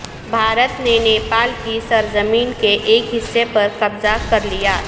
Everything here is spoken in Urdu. بھارت نے نیپال کی سرزمین کے ایک حصے پر قبضہ کرلیا